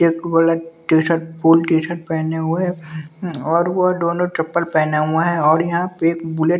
T shirt full T shirt पहने हुए है और वो दोनों चप्पल पहने हुए है और यहां पे एक बुलेट --